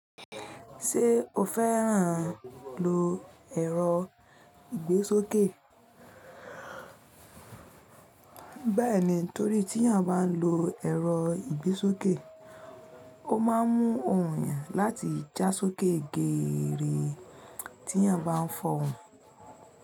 Ṣé o fẹ́ràn lo ẹ̀rọ ìgbésókè? Bẹ́ẹ̀ni, torí tí èèyàn bá n lo ẹ̀rọ ìgbésókè, ó máa ń mú òun yẹn láti já sókè geere tí èèyàn bá ń fọ̀hùn.